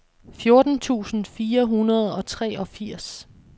fjorten tusind fire hundrede og treogfirs